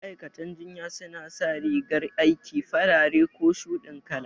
Ma'aikatan jinya su na sa rigar aiki farare ko shuɗin kala